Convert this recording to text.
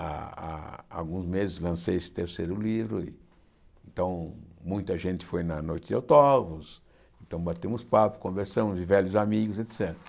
Há há há alguns meses lancei esse terceiro livro, então muita gente foi na noite de autógrafos, então batemos papo, conversamos, vi velhos amigos, et cétera.